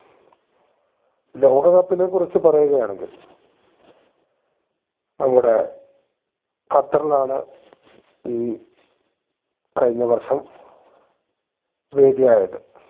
ലോക cup നെ കുറിച്ച് പറയുകയാണെങ്കിൽ നമ്മുടെ ഖത്തറിലാണ് ഈ കഴിഞ്ഞ വർഷം വേദി ആയത്